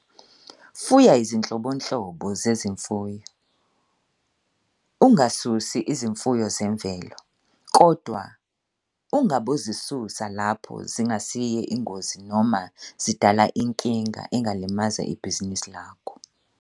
Fuya izinhlobonhlobo zezimfuyo, ungasusi izimfuyo zemvelo, kodwa ungabozisusa lapho zingasiye ingozi noma zidala inkinga engalimaza ibhizinisi lakho.